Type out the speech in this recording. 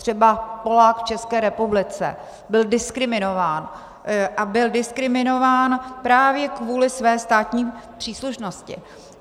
Třeba Polák v České republice byl diskriminován a byl diskriminován právě kvůli své státní příslušnosti.